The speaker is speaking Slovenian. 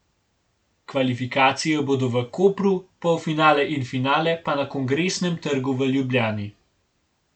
Kvalifikacije bodo v Kopru, polfinale in finale pa na Kongresnem trgu v Ljubljani.